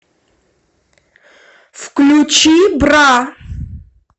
включи бра